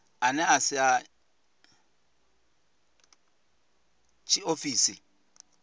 ane a si a tshiofisi